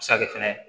A bɛ se ka kɛ fɛnɛ